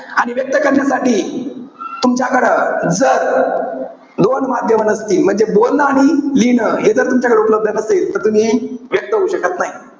आणि व्यक्त करण्यासाठी तुमच्याकडं जर, दोन माध्यमं नसतील. म्हणजे बोलणं आणि लिहिणं. हे जर तुमच्याकडे उपलब्ध नसेल. तर तुम्ही व्यक्त होऊ शकत नाई.